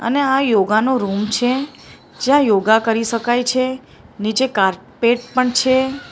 અને આ યોગા નો રૂમ છે જ્યાં યોગા કરી શકાય છે. નીચે કારપેટ પણ છે.